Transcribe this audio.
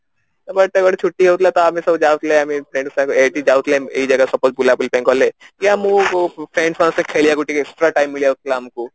but ଏବେ ଗୋଟେ ଛୁଟି ହଉଥିଲା ତ ଆମେ ସବୁ ଯାଉଥିଲେ ଏଇ ଜାଗା suppose ବୁଲାବୁଲି ପାଇଁ ଗଲେ ମୁଁ friends ମାନଙ୍କ ସହିଲା ଖେଳିବାକୁ extra time ଯାଉଥିଲା ଆମକୁ